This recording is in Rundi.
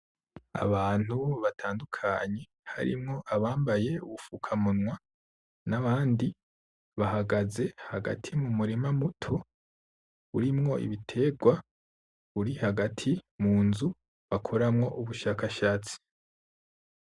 Abantu batandukanye harimwo abambaye ubufukamunwa n'abandi bahagaze hagati mu murima muto urimwo ibiterwa uri hagati mu nzu bakoramwo ubushakashatsi.